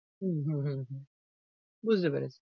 উম হু, হুহু । বুঝতে পেরেছি।